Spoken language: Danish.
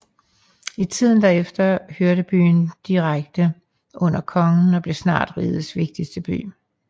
I tiden derefter hørte byen direkte under kongen og blev snart rigets vigtigste by